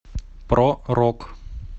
про рок